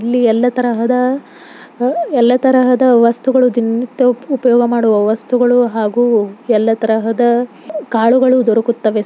ಇಲ್ಲಿ ಎಲ್ಲಾ ತರಹದ ವಸ್ತುಗಳು ದಿನನಿತ್ಯದ ಉಪಯೋಗ ಮಾಡುವ ವಸ್ತುಗಳು ಹಾಗೂ ಎಲ್ಲ ತರಹದ ಕಾಳುಗಳು ದೊರಕುತ್ತದೆ.